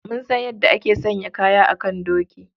Mun san yadda ake sanya kaya a kan doki.